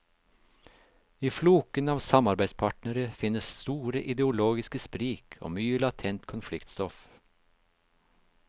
I floken av samarbeidspartnere finnes store ideologiske sprik og mye latent konfliktstoff.